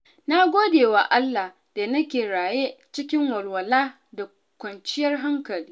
Na gode wa Allah da nake raye cikin walwala da kwanciyar hankali.